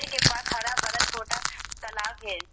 के पास हरा भरा छोटा तलाब है।